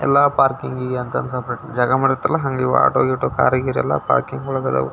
ಪೇಟೆಗೆ ಎಲ್ಲಾದರೂ ಹೋಗಬೇಕು ಸಿಟಿಗೆ ಹೋಗಬೇಕು ಅಂದ್ರೆ ಆಟೋದಲ್ಲಿ ಹೋಗ್ಬೇಕು ನಾವು.